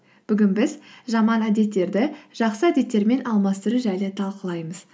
бүгін біз жаман әдеттерді жақсы әдеттермен алмастыру жайлы талқылаймыз